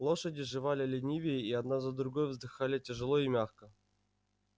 лошади жевали ленивее и одна за другою вздыхали тяжёло и мягко